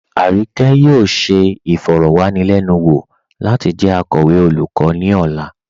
Arike yóò ṣẹ ifọ̀rọ̀wanilẹnuwo lati jẹ akọwe olùkọ̀ ni ọ̀là.